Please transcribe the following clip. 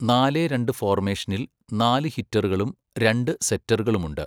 നാലെ രണ്ട് ഫോർമേഷനിൽ നാല് ഹിറ്ററുകളും രണ്ട് സെറ്ററുകളുമുണ്ട്.